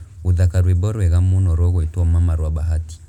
gūthaka rwīmbo rwega mūno rūgwitwo mama rwa bahati